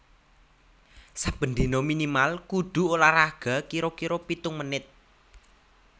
Saben dino minimal kudu olahraga kiro kiro pitung menit